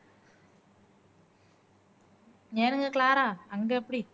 ஏனுங்க க்ளாரா அங்க எப்படி